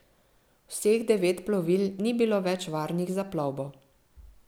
Vseh devet plovil ni bilo več varnih za plovbo.